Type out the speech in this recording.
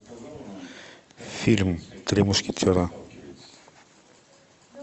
фильм три мушкетера